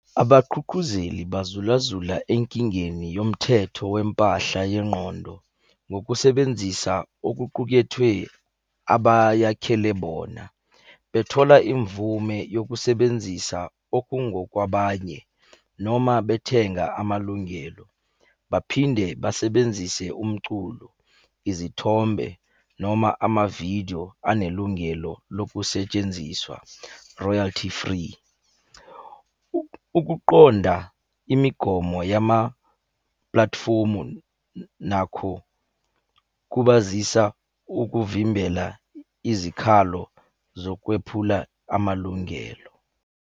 Abaqhuqhuzeli bazulazula enkingeni yomthetho wempahla yengqondo ngokusebenzisa okuqukethwe abayakhele bona. Bethola imvume yokusebenzisa okungokwabanye, noma bethenga amalungelo. Baphinde basebenzise umculo, izithombe noma amavidiyo anelungelo lokusetshenziswa royalty-free. Ukuqonda imigomo yamaplathifomu nakho kubazisa ukuvimbela izikhalo zokwephula amalungelo.